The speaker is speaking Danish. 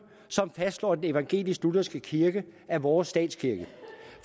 som fastslår at den evangelisk lutherske kirke er vores statskirke